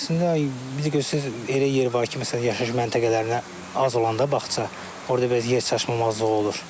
Əslində biraz gözdüz elə yer var ki, məsələn yaşayış məntəqələrinə az olanda bağça, orda biraz yer çatışmamazlığı olur.